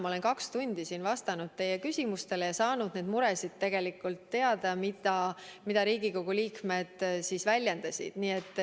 Ma olen täna kaks tundi siin vastanud teie küsimustele ja saanud teada neist muredest, mida Riigikogu liikmed väljendasid.